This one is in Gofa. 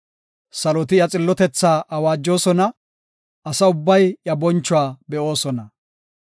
Saloti iya xillotethaa awaajosona; asa ubbay iya bonchuwa be7oosona.